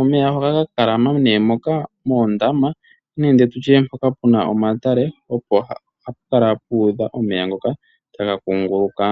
Omeya ohaga ka talama nee moka moondama nenge tu tye mpoka pu na omatale opo hapu kala pu udha omeya ngoka taga kunguluka.